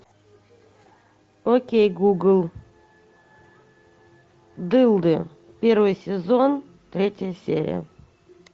окей гугл дылды первый сезон третья серия